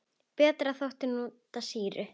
Betra þótti að nota sýru.